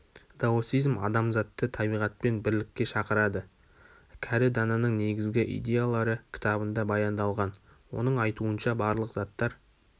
даосизм адамзатты табиғатпен бірлікке шақырады кәрі дананың негізгі идеялары кітабында баяндалған оның айтуынша барлық заттар